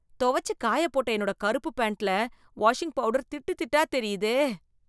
தொவைச்சு காயப் போட்ட என்னோட கறுப்பு பேன்ட்ல, வாஷிங் பவுடர் திட்டுதிட்டா தெரியுதே...